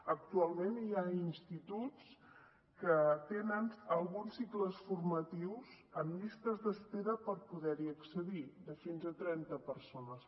actualment hi ha instituts que tenen alguns cicles formatius amb llistes d’espera per poder hi accedir de fins a trenta persones